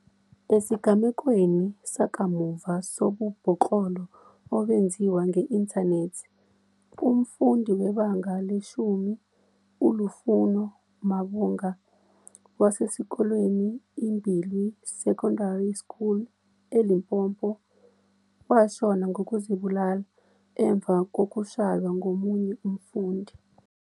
Esigamekweni sakamuva sobubhoklolo obenziwa nge-inthanethi, umfundi weBanga le-10 uLufuno Mavhunga, wasesikolweni iMbilwi Secondary School eLimpopo, washona ngokuzibulala emva kokushaywa ngomunye umfundi.